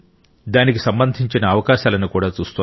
దానికి సంబంధించిన అవకాశాలను కూడా చూస్తోంది